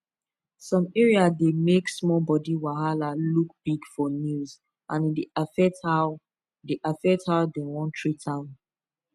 some area dey make small body wahala look big for news and e dey affect how dey affect how dem wan treat am